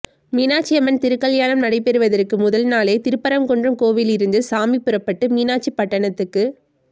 மீனாட்சி அம்மன் திருக்கல்யாணம் நடைபெறுவதற்கு முதல் நாளே திருப்பரங்குன்றம் கோவிலிலிருந்து சாமி புறப்பட்டு மீனாட்சி பட்டணத்துக்கு